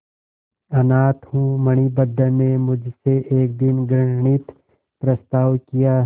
अनाथ हूँ मणिभद्र ने मुझसे एक दिन घृणित प्रस्ताव किया